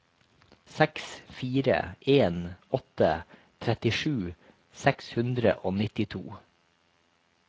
seks fire en åtte trettisju seks hundre og nittito